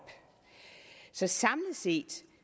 så samlet set